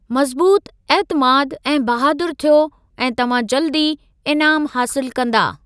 मज़बूतु, ऐतिमादु, ऐं बहादुरु थियो ऐं तव्हां जल्दु ई इनामु हासिलु कंदा।